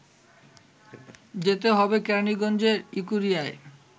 যেতে হবে কেরানীগঞ্জের ইকুরিয়ায়